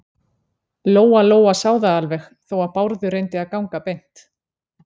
Lóa-Lóa sá það alveg, þó að Bárður reyndi að ganga beint.